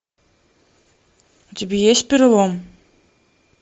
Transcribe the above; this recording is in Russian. у тебя есть перелом